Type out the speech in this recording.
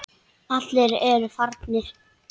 Allir aðrir eru farnir.